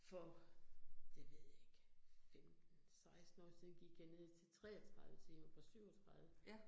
For det ved jeg ikke, 15 16 år siden gik jeg ned til 33 timer fra 37